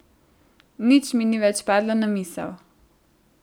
Nič mi ni več padlo na misel.